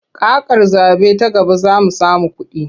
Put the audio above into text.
Kakar zaɓe ta gaba za mu samu kuɗi.